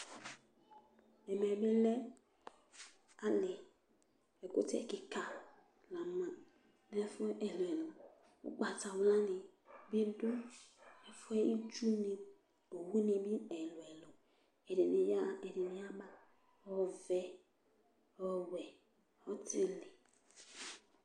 ɛmɛ bi lɛ ali ɛkutɛ keka la ma n'ɛfu ilili ugbata wla ni bi do ɛfuɛ itsu ni owu ni do ɛlò ɛlò ɛdini ya ɣa ɛdini ya ba ɔvɛ ɔwɛ ɔtili